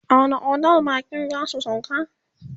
a wani otel bakin zasu sauka?